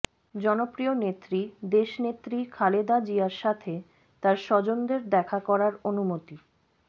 জনপ্রিয় নেত্রী দেশনেত্রী খালেদা জিয়ার সাথে তার স্বজনদের দেখা করার অনুমতি